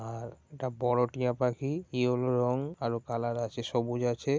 আর এটা বড় টিয়া পাখি ইয়োলো রঙ আরো কালার আছে সবুজ আছে ।